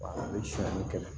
A bɛ sonyali kɛ